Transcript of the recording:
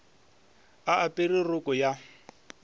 a apere roko ya go